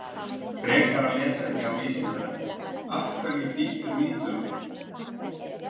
Frekara lesefni á Vísindavefnum: Af hverju bítur mýflugan?